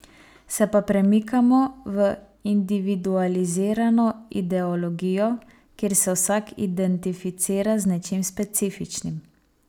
Se pa premikamo v individualizirano ideologijo, kjer se vsak identificira z nečim specifičnim.